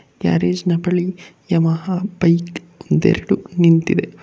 Garage ನ ಬಳಿ Yamaha bike ಒಂದೆರಡು ನಿಂತಿದೆ.